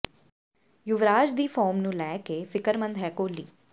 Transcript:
ਯੁਵਰਾਜ ਦੀ ਫੌਰਮ ਨੂੰ ਲੈ ਕੇ ਫ਼ਿਕਰਮੰਦ ਹੈ ਕੋਹਲੀ